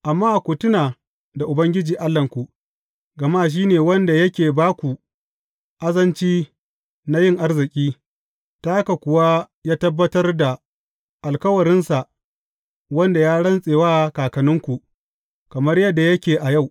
Amma ku tuna da Ubangiji Allahnku, gama shi ne wanda yake ba ku azanci na yin arziki, ta haka kuwa ya tabbatar da alkawarinsa, wanda ya rantse wa kakanninku, kamar yadda yake a yau.